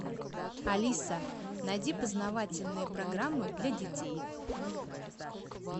алиса найди познавательные программы для детей